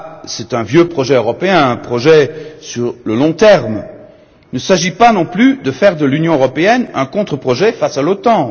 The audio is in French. C'est un vieux projet européen, un projet sur le long terme. Il ne s'agit pas non plus de faire de l'Union européenne un contre projet face à l'OTAN.